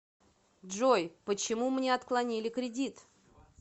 джой почему мне отклонили кредит